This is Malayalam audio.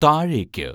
താഴേക്ക്